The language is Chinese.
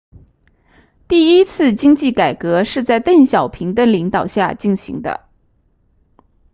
第一次经济改革是在邓小平的领导下进行的